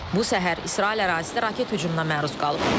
Bu səhər İsrail ərazisi raket hücumuna məruz qalıb.